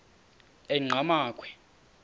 enqgamakhwe